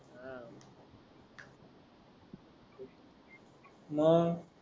मग